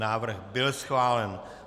Návrh byl schválen.